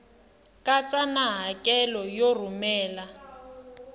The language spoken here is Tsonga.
katsa na hakelo yo rhumela